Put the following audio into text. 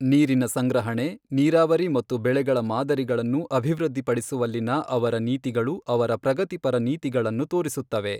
ನೀರಿನ ಸಂಗ್ರಹಣೆ, ನೀರಾವರಿ ಮತ್ತು ಬೆಳೆಗಳ ಮಾದರಿಗಳನ್ನು ಅಭಿವೃದ್ಧಿಪಡಿಸುವಲ್ಲಿನ ಅವರ ನೀತಿಗಳು ಅವರ ಪ್ರಗತಿಪರ ನೀತಿಗಳನ್ನು ತೋರಿಸುತ್ತವೆ.